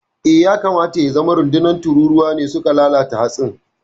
Eh, ya kamata ya zama rundunar tururuwa ne suka lalata hatsin.